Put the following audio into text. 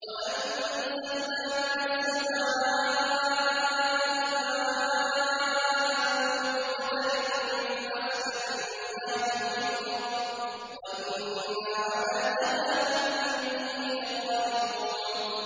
وَأَنزَلْنَا مِنَ السَّمَاءِ مَاءً بِقَدَرٍ فَأَسْكَنَّاهُ فِي الْأَرْضِ ۖ وَإِنَّا عَلَىٰ ذَهَابٍ بِهِ لَقَادِرُونَ